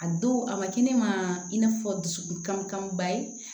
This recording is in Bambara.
A don a ma kɛ ne ma i n'a fɔ dusukun kan ba ye